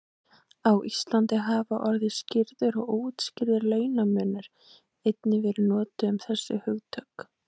Á Íslandi hafa orðin skýrður og óútskýrður launamunur einnig verið notuð um þessi hugtök.